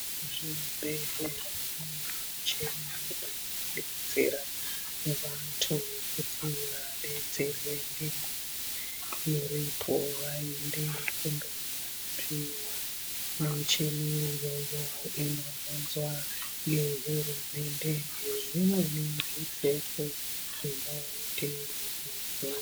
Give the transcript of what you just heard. Muzvibhedhlera mune michini inodetsera vanhu kuti vadetserwe ngenguwa iripo vaende koorapiwa. Michini iyoyo inounzwa ngehurumende nezvimweni zvipfeko zvinodiwa.